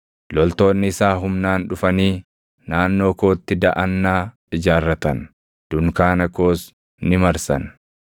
Loltoonni isaa humnaan dhufanii naannoo kootti daʼannaa ijaarratan; dunkaana koos ni marsan.